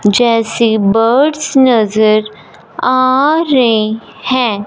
जैसे बर्ड्स नजर आ रहे हैं।